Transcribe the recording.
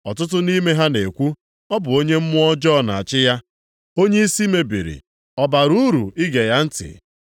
Ọtụtụ nʼime ha na-ekwu, “Ọ bụ onye mmụọ ọjọọ na-achị ya, onye isi mebiri. Ọ bara uru ige ya ntị?”